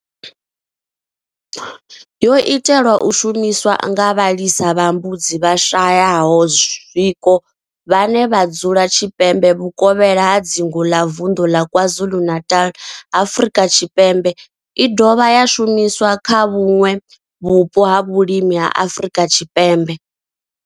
Yo itelwa u shumiswa nga vhalisa vha mbudzi vhashayaho zwiko vhane vha dzula tshipembe vhukovhela ha dzingu la vunḓu ḽa KwaZulu-Natal, Afrika Tshipembe i dovha ya shumiswa kha vhuṋwe vhupo ha vhulimi ha Afrika Tshipembe.